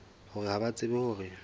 hore ha ba tsebe hore